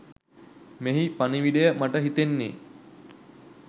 මෙහි පණිවිඩය මට හිතෙන්නේ